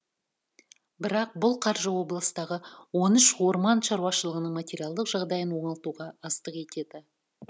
бірақ бұл қаржы облыстағы он үш орман шаруашылығының материалдық жағдайын оңалтуға аздық етеді